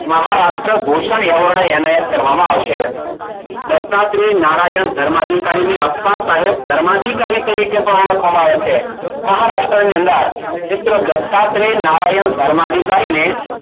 Maharashtra Bhushan award એનાયત કરવામાં આવશે. દત્તાત્રે નારાયણ ધર્મ અધિકારીને અપ્પા સાહેબ ધર્માધિકારી તરીકે પણ ઓળખવામાં આવે છે. મહારાષ્ટ્રની અંદર મિત્રો દત્તાત્રે નારાયણ ધર્મ અધિકારીને